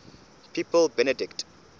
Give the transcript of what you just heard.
pope benedict